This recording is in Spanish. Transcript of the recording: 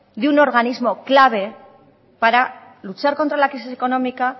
de un organismo clave para luchar contra la crisis económica